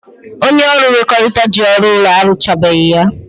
Onye ọrụ nkwekọrịta ji ọrụ ụlọ ahụ arụchabeghị ya.